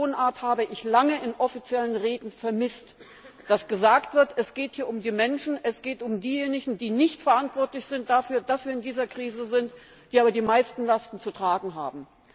Diese Tonart habe ich lange in offiziellen Reden vermisst, dass gesagt wird, es geht hier um die Menschen, es geht um diejenigen, die nicht dafür verantwortlich sind, dass wir in dieser Krise sind, die aber die meisten Lasten zu tragen haben.